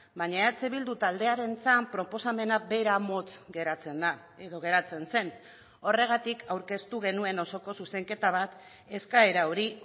baina eh bildu taldearentzat proposamena bera motz geratzen da edo geratzen zen horregatik aurkeztu genuen osoko zuzenketa bat eskaera hori